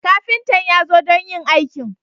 Kafintan ya zo don yin aikin.